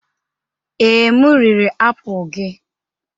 Ee, m riri apụl gị.